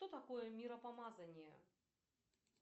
что такое миропомазание